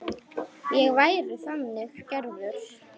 Ég væri þannig gerður.